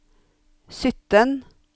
sytten